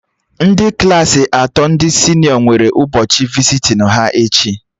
Ndị Klassị atọ ndị senịọ nwere ụbọchị visitin ha echi